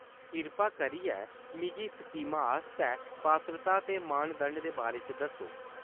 कृपा करियै मिगी इस स्कीमा आस्तै पात्रता दे मानदंड दे बारे च दस्सो।